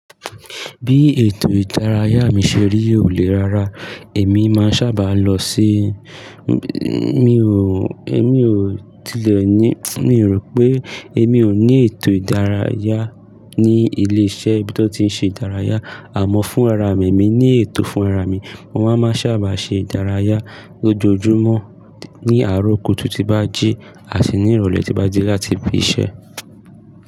Bí ètò ìdárayá mi ṣe rí òlè rára, èmi máa sábà lọ sí, mi ò, èmi ò tilẹ̀ ní, mi rò pé èmi ò ní ètò ìdárayá ní ilé-iṣẹ́ tí ó ti ń ṣe ìdárayá àmọ́ fún ara mi, emi ní ètò fún ara mi. Mo máa má sábà ṣe ìdárayá lójoojúmọ́ ní àárọ̀ kùtù tí bá jí àti ní ìrọ̀lẹ́ tí bá jí láti fi ṣẹ.